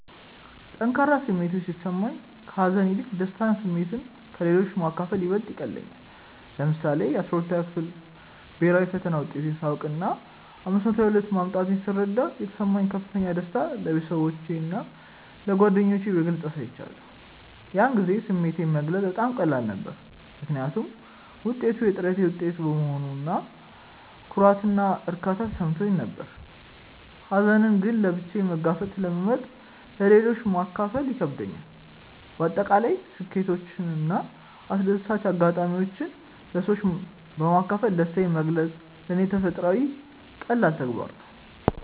ጠንካራ ስሜቶች ሲሰማኝ፣ ከሀዘን ይልቅ የደስታ ስሜትን ለሌሎች ማካፈል ይበልጥ ይቀልለኛል። ለምሳሌ፣ የ12ኛ ክፍል ብሄራዊ ፈተና ውጤቴን ሳውቅና 522 ማምጣቴን ስረዳ የተሰማኝን ከፍተኛ ደስታ ለቤተሰቦቼና ለጓደኞቼ በግልጽ አሳይቻለሁ። ያን ጊዜ ስሜቴን መግለጽ በጣም ቀላል ነበር፤ ምክንያቱም ውጤቱ የጥረቴ ውጤት በመሆኑ ኩራትና እርካታ ተሰምቶኝ ነበር። ሀዘንን ግን ለብቻዬ መጋፈጥን ስለመርጥ ለሌሎች ማካፈሉ ይከብደኛል። በአጠቃላይ ስኬቶችንና አስደሳች አጋጣሚዎችን ለሰዎች በማካፈል ደስታዬን መግለጽ ለኔ ተፈጥሯዊና ቀላል ተግባር ነው።